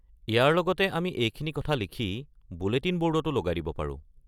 ইয়াৰ লগতে আমি এইখিনি কথা লিখি বুলেটিন ব'ৰ্ডটো লগাই দিব পাৰোঁ।